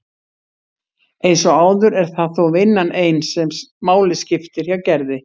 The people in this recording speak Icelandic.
Eins og áður er það þó vinnan ein sem máli skiptir hjá Gerði.